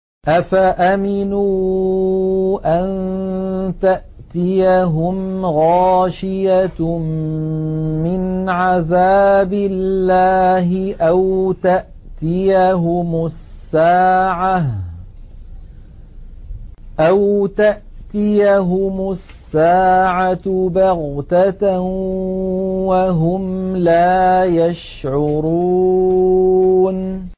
أَفَأَمِنُوا أَن تَأْتِيَهُمْ غَاشِيَةٌ مِّنْ عَذَابِ اللَّهِ أَوْ تَأْتِيَهُمُ السَّاعَةُ بَغْتَةً وَهُمْ لَا يَشْعُرُونَ